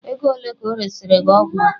Ego ole ka ọ resịrị gị ọgwụ a?